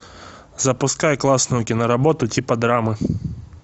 запускай классную киноработу типа драмы